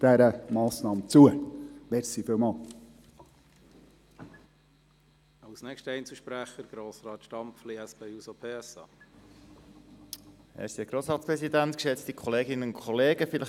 Deshalb: Wenn wir ein sauberes Ende machen wollen, stimmen Sie dieser Massnahme zu.